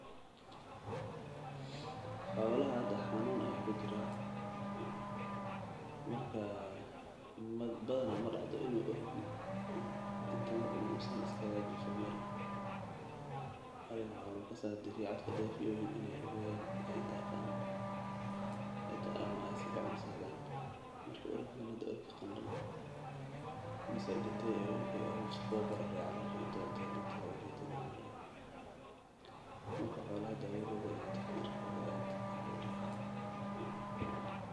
Xolaha hada xanuun ayaa kujiraa badanaa madacdo orgi sidan uweyn inuu meel lagu gado waxeey muhiim utahay sababta oo ah waxeey ledahay xoogsin fican mararka qaar waxaa.